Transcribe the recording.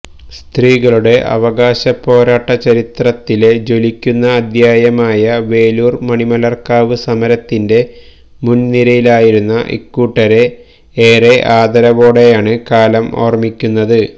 സ്ത്രീകളുടെ അവകാശപ്പോരാട്ട ചരിത്രത്തിലെ ജ്വലിക്കുന്ന അധ്യായമായ വേലൂർ മണിമലർക്കാവ് സമരത്തിന്റെ മുൻനിരയിലായിരുന്ന ഇക്കൂട്ടരെ ഏറെ ആദരവോടെയാണ് കാലം ഓർമിക്കുന്നത്